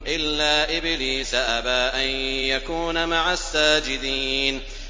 إِلَّا إِبْلِيسَ أَبَىٰ أَن يَكُونَ مَعَ السَّاجِدِينَ